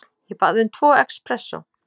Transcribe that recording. Ég bað um tvo expressó.